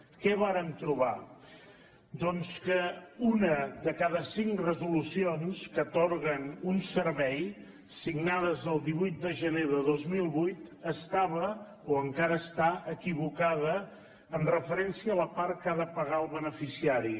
què vàrem trobar doncs que una de cada cinc resolucions que atorguen un servei signades del divuit de gener de dos mil vuit estava o encara està equivocada amb referència a la part que ha de pagar el beneficiari